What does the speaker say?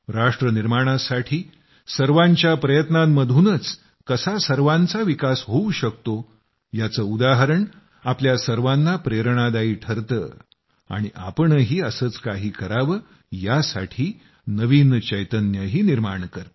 राष्ट्रनिर्माणासाठी सर्वांच्या प्रयत्नांतूनच कसा सर्वांचा विकास होऊ शकतो याचे उदाहरण आपल्या सर्वांना प्रेरणादायी ठरते आणि आपणही असेच काही करावं यासाठी नवीन चैतन्यही निर्माण करते